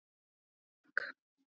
Frank